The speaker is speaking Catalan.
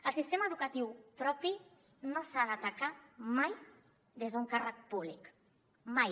el sistema educatiu propi no s’ha d’atacar mai des d’un càrrec públic mai